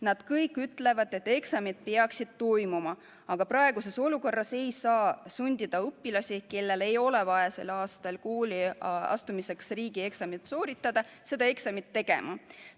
Nad kõik ütlevad, et eksamid peaksid toimuma, aga praeguses olukorras ei saa sundida õpilasi, kellel ei ole vaja sel aastal kooli astumiseks riigieksamit sooritada, seda eksamit tegema.